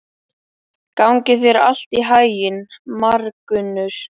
Gangi þér allt í haginn, Margunnur.